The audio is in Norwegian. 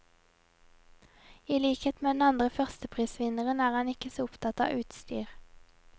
I likhet med den andre førsteprisvinneren er han ikke så opptatt av utstyr.